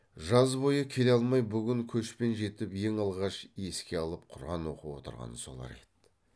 жаз бойы келе алмай бүгін көшпен жетіп ең алғаш еске алып құран оқып отырған солар еді